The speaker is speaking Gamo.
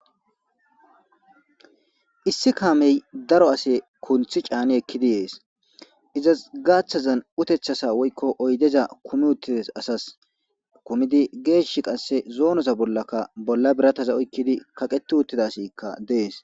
Issi kaame daro ase kunthi cani ekidi yes izas gaathaza oydeza woykko utetaza kummi uttides asas. Kumidi geeshi qassi zoonoza ollakka bolla birathaza oykkidi kaqeti uttida asikka des.